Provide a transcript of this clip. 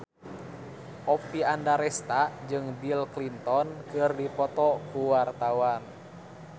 Oppie Andaresta jeung Bill Clinton keur dipoto ku wartawan